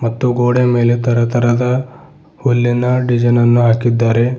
ಮತ್ತು ಗೋಡೆ ಮೇಲೆ ತರತರದ ಹುಲ್ಲಿನ ಡಿಸೈನ್ ಅನ್ನು ಹಾಕಿದ್ದಾರೆ.